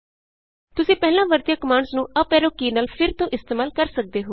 ਤੁਸੀਂ ਪਹਿਲਾਂ ਵਰਤੀਆਂ ਕਮਾਂਡਸ ਨੂੰ ਅਪ ਐਰੋ ਕੀ ਨਾਲ ਫਿਰ ਤੋਂ ਇਸਤੇਮਾਲ ਕਰ ਸਕਦੇ ਹੋ